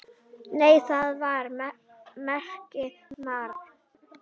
Nei, það var ekki mark.